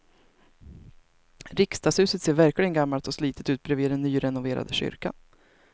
Riksdagshuset ser verkligen gammalt och slitet ut bredvid den nyrenoverade kyrkan.